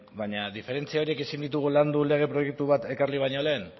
baina diferentzia horiek ezin ditugu landu lege proiektu bat ekarri baino lehen